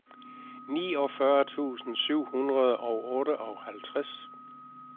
niogfyrre tusind syv hundrede og otteoghalvtreds